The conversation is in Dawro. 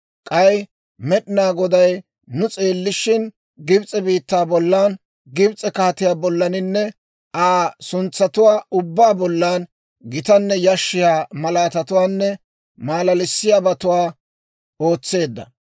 K'ay Med'inaa Goday nu s'eellishin, Gibs'e biittaa bollan, Gibs'e kaatiyaa bollaninne Aa suntsatuwaa ubbaa bollan gitanne yashshiyaa malaatatuwaanne maalaalissiyaabatuwaa ootseedda.